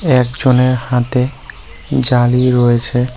একজনের হাতে জালি রয়েছে।